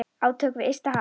Átök við ysta haf.